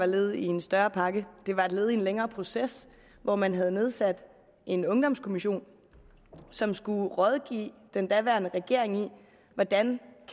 led i en større pakke det var et led i en længere proces hvor man havde nedsat en ungdomskommission som skulle rådgive den daværende regering om hvordan